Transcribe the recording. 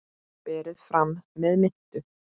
Berið fram með mintu.